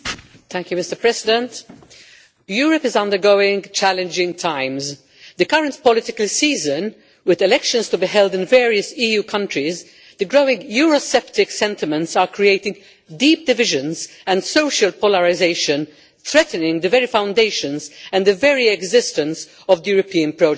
Mr President, Europe is undergoing challenging times. In the current political season, with elections to be held in various EU countries, the growing Eurosceptic sentiments are creating deep divisions and social polarisation, threatening the very foundations and the very existence of the European project.